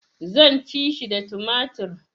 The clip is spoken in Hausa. Zan ci shi da tumatir